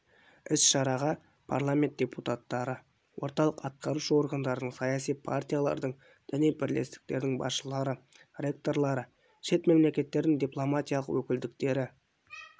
іс-шараға парламент депутаттары орталық атқарушы органдардың саяси партиялардың діни бірлестіктердің басшылары ректорлары шет мемлекеттердің дипломатиялық өкілдіктері